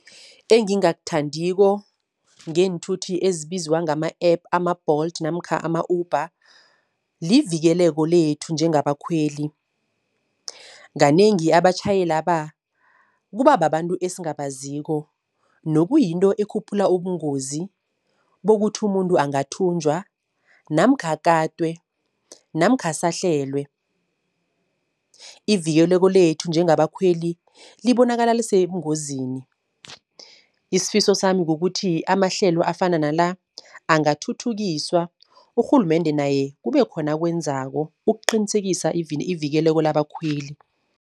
Engingakuthandiko ngeenthuthi ezibizwa ngama-app ama-Bolt namkha ama-Uber, livikeleko lethu njengabakhweli. Kanengi abatjhayelaba kuba babantu esingabaziko nokuyinto ekhuphula ubungozi bokuthi umuntu angathunjwa namkha akatwe namkha asahlelwe. Ivikeleko lethu njengabakhweli libonakala lisebungozini. Isifiso sami kukuthi amahlelo afana nala angathuthukiswa, urhulumende naye kube khona akwenzako ukuqinisekisa ivikeleko labakhweli.